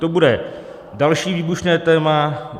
To bude další výbušné téma.